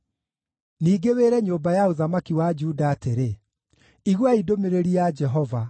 “Ningĩ wĩre nyũmba ya ũthamaki wa Juda atĩrĩ, ‘Iguai ndũmĩrĩri ya Jehova;